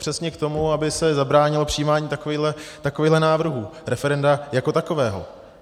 Přesně k tomu, aby se zabránilo přijímání takovýchto návrhů, referenda jako takového.